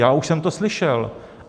Já už jsem to slyšel.